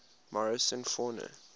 morrison fauna